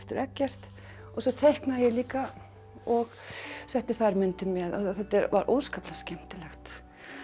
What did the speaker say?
Eggert og svo teiknaði ég líka og setti þær myndir með þetta var óskaplega skemmtilegt